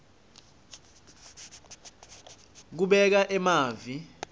kubeka emavi